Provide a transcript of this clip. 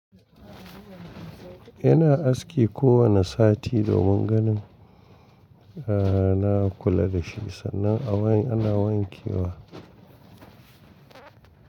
Ina aski ko wane sati domin ganin a na kula da shi sannan ana wanke wa.